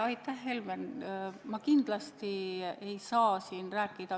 Aitäh, Helmen!